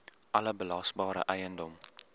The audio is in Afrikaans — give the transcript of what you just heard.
alle belasbare eiendom